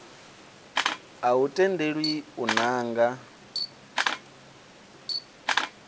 a u tendelwi u nanga